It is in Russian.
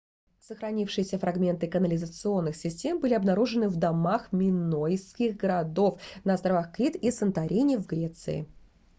сохранившиеся фрагменты канализационных систем были обнаружены в домах минойских городов на островах крит и санторин в греции